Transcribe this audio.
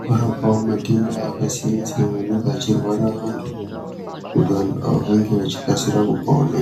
kurapawo matenda akasiyana siyana anenge achirwara vantu kuti vantu ava vange vachikasira kupona.